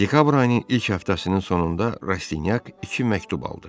Dekabr ayının ilk həftəsinin sonunda Rastenyak iki məktub aldı.